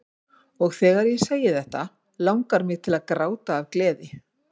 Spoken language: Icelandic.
Og þegar ég segi þetta langar mig til að gráta af gleði.